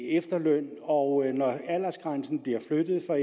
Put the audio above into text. efterløn og når aldersgrænsen bliver flyttet for